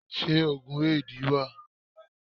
Ṣé òògùn Éèdì wà?